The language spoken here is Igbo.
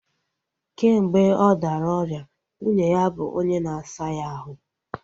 Kemgbe ọ dara ọrịa, nwunye ya bụ onye na-asa ya ahụ